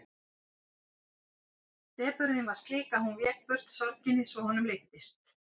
Depurðin var slík að hún vék burt sorginni svo honum leiddist.